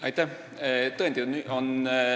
Aitäh!